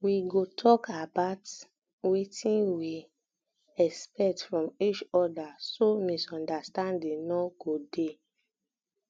we go tok about um wetin we um expect from each oda so misunderstanding no um go dey